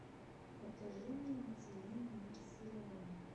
покажи мне на тв мир сериала